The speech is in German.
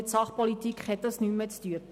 Mit Sachpolitik hat dies nichts zu tun.